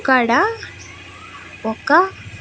ఇక్కడా ఒక--